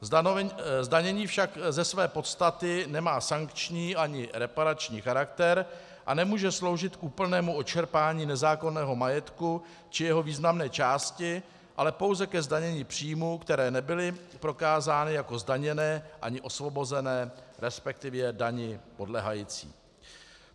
Zdanění však ze své podstaty nemá sankční ani reparační charakter a nemůže sloužit k úplnému odčerpání nezákonného majetku či jeho významné části, ale pouze ke zdanění příjmů, které nebyly prokázány jako zdaněné ani osvobozené, respektive dani podléhající.